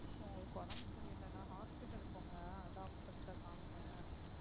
உங்களுக்கு உடம்பு சரியில்லைன்னா hospital போங்க doctor கிட்ட காமிங்க